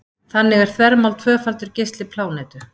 þannig er þvermál tvöfaldur geisli plánetu